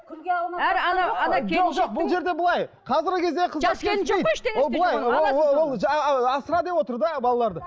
бұл жерде былай қазіргі кезде асыра деп отыр да балаларды